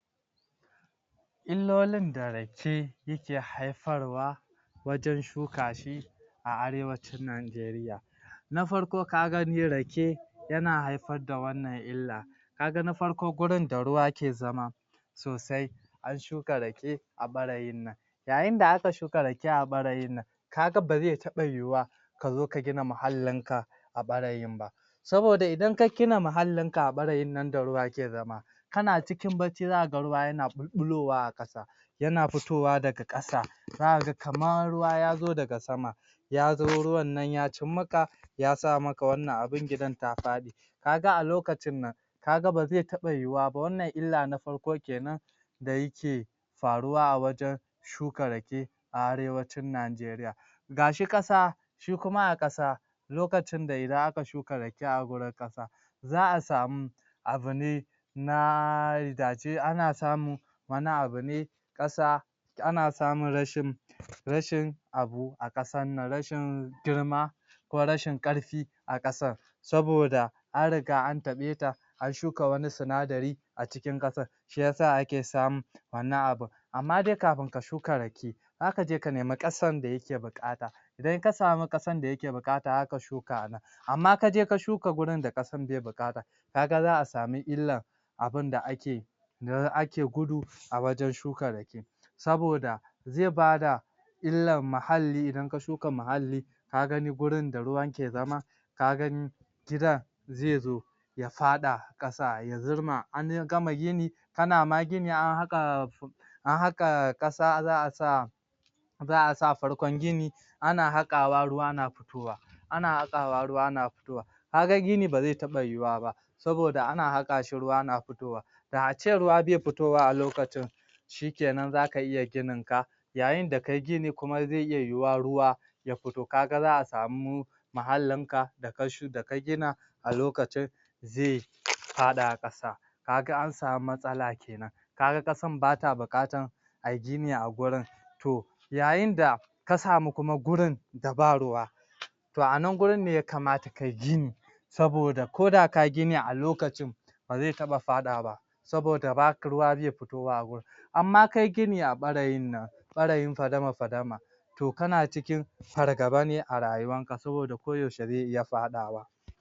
Iilolin da Rake yake haifarwa wajen shuka shi a arewacin NIgaria na farko ka gani Rake yana haifar da wannan illa ka na farko gurin da ruwa ke zama sosai an shuka Rake a ɓarayin nan yayin da aka shuka rake a ɓarayin nan ka ga ba zai taɓa yiwa ka zo ka gina mahallinka a ɓarayin ba saboda idan ka gina mahallinka a ɓarayin nan da ruwa ke zama kan ciki bacci za ka ga ruwa yana ɓulɓulowa a ƙasa yana fitowa daga ƙasa za ka ga kamar zuwa ya zo daga sama ya zo ruwan nan ya cimmaka ya sama maka wannna abin gidan ta faɗi ka ga a lokacin nan ka ga ba zai taɓa yiwa ba, wannan illa na farko kenan da yake faruwa a wajen shuka rake a arewacin Nigaria ga shi ƙasa shi kuma a ƙasa lokacin da idan aka shuka Rake a gurin ƙasa za a samu abu ne na dace ana samun wani abu ne ƙasa ana samun rashin rashin abu a ƙasar nan rashin girma ko rashin ƙarfi a ƙasar saboda ana friga an taɓeta ana shuka wani sinadari a cikin ƙasar shi ya sa ake samun wannan abun amma dai kafin ka shuka Rake zaka je a nemi ƙasan da kake buƙata idan ka samu ƙasar da yake buƙata zaka shuka a nan amma ka je ka shuka gurin da kasan bai buƙata ka ga za a samu illa abinda ake ake gudu a wajen shukar Rake saboda zai bada illar mahalli idan ka shuka mahalli ka gani gurin da ruwan ke zama ka gani gidan zai zo ya faɗa ƙasa ya zurma an gama gini kana ma gini an haƙa ana haƙa ƙasa za a sa za a sa farkon gini ana haƙawa ruwa na fitowa ana haƙawa ruwa na fitowa ka ga gini ba zai taɓa yiwuwa ba saboda ana haƙa shi ruwa na fitowa da a ce ruwa be fitowa a lokacin shikenan zaka iya gininka yayin da kai gini kuma zai iya yiyuwa ruwa ya fito ka ga za a samu mahallinka da ka shu daka gina a lokacin zai faɗa ƙasa ka ga an samu matsala kenan ka ga ƙasan bata buƙatar ai gini a gurin to yayin da ka samu kuma gurin da ba ruwa to a nan gurin ne ya kamata kai gini saboda koda ka yi gini a lokacin ba zai taɓa faɗawa ba saboda ruwa bai fitowa a gurin amma kai gini a ɓarayin nan ɓarayin fadama-fadama to kana cikin fargaba ne a rayuwanka saboda koyaushe zai iya faɗawa